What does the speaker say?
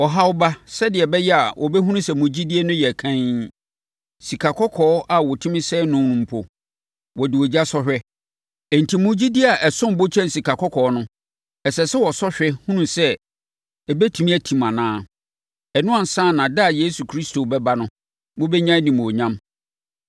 Ɔhaw ba sɛdeɛ ɛbɛyɛ a wɔbɛhunu sɛ mo gyidie no yɛ kann. Sikakɔkɔɔ a wɔtumi sɛe no no mpo, wɔde ogya sɔ hwɛ. Enti, mo gyidie a ɛsom bo kyɛn sikakɔkɔɔ no, ɛsɛ sɛ wɔsɔ hwɛ hunu sɛ, ɛbɛtumi atim anaa. Ɛno ansa na da a Yesu Kristo bɛba no, mobɛnya animuonyam.